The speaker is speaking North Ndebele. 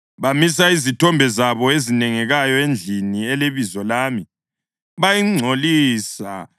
Bamisa izithombe zabo ezinengekayo endlini eleBizo lami bayingcolisa.